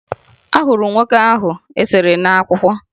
Ahụrụ m nwoke ahụ e sere n'akwụkwọ